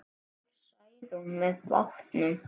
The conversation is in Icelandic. Fór Særún með bátnum.